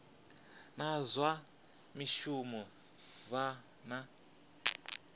na zwa mishumo vha na